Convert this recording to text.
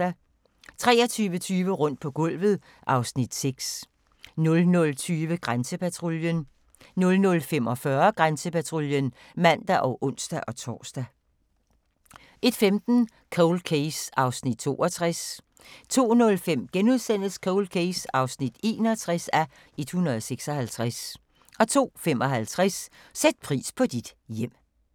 23:20: Rundt på gulvet (Afs. 6) 00:20: Grænsepatruljen 00:45: Grænsepatruljen (man og ons-tor) 01:15: Cold Case (62:156) 02:05: Cold Case (61:156)* 02:55: Sæt pris på dit hjem